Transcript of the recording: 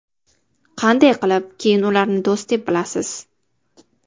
Qanday qilib keyin ularni do‘st deb bilasiz?